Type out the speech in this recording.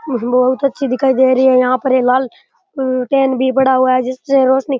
बहुत अच्छी दिखाई दे रही यहाँ पर --